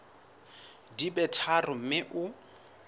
di be tharo mme o